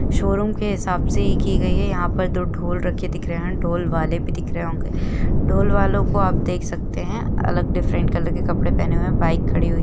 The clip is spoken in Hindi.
शोरूम के हिसाब से ही की गई है यहा पर दो ढोल रखे दिख रहे है ढोल वाले भी दिख रहे होंगे ढोल वालों को आप देख सकते है अलग डिफ्रन्ट कलर के कपड़े पहने हुए है बाइक खड़ी हुई --